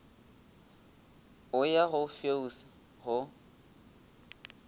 o ya go feus go